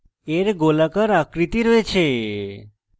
এর গোলাকার আকৃতি রয়েছে